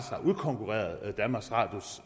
har udkonkurreret danmarks radios